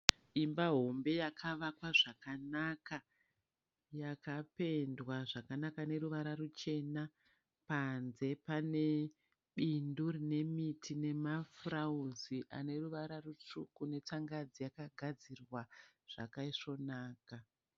Imba hombe yakavakwa zvakanaka yakapendwa zvakanaka neruvara ruchena panze pane bindu rine miti nemafurawuzi ane ruvara rutsvuku netsangadzi yakagadzirwa zvakaisvonaka.